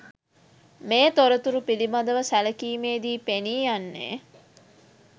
මේ තොරතුරු පිළිබඳව සැලකීමේදී පෙනී යන්නේ